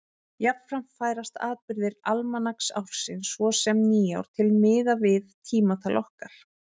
Jafnframt færast atburðir almanaksársins, svo sem nýár, til miðað við tímatal okkar.